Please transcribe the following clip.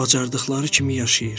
Bacardıqları kimi yaşayır.